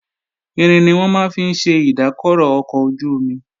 Irin ni wọ́n máa ń fi ṣe ìdákọrò ọkọ̀ ojú-omi